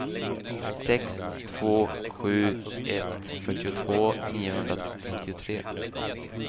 sex två sju ett fyrtiotvå niohundranittiotre